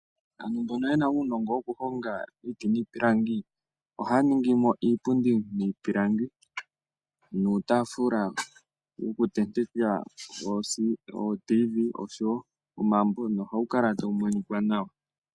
Aantu mbono yena uunongo woku honga iiti niipilangi ohaya ningimo iipundi yiipingilangi nuutaafula woku tenteka ootivi oshowo omambo . Na ohawu kala tawu monika nawa.